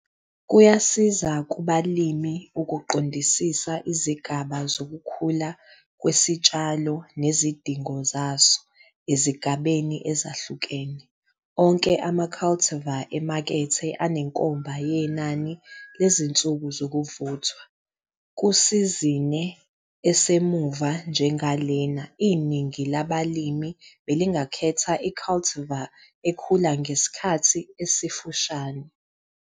Kuyasiza kubalimi ukuqondisisa izigaba zokukhula kwesitshalo nezidingo zaso ezigabeni ezahlukene. Onke ama-cultivar emakethe anenkomba yenani lezinsuku zokuvuthwa. Kusizine esemuva njengalena, iningi labalimi belingakhetha i-cultivar ekhula ngesikhathi esifushane.